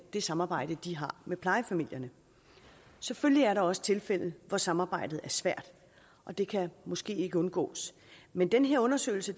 det samarbejde de har med plejefamilierne selvfølgelig er der også tilfælde hvor samarbejdet er svært det kan måske ikke undgås men den her undersøgelse